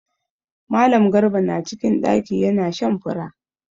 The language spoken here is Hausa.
Mallam garba na cikin ɗaki ya na shan fura.